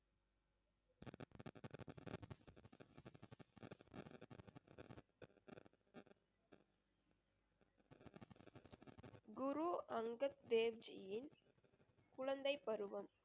குரு அங்கத் தேவ் ஜியின் குழந்தை பருவம்